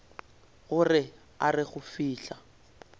gore a re go fihla